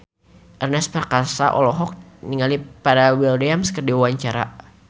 Ernest Prakasa olohok ningali Pharrell Williams keur diwawancara